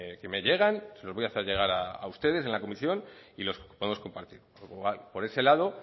que me llegan se los voy a hacer llegar a ustedes en la comisión y los podemos compartir por ese lado